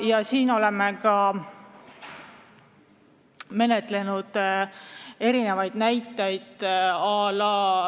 Ja meie menetlusest võib tuua ka erinevaid näiteid.